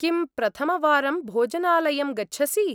किं प्रथमवारं भोजनालयं गच्छसि?